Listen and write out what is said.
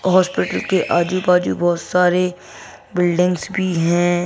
Hospital के आजू-बाजू बहुत सारे बिल्डिंग्स भी हैं।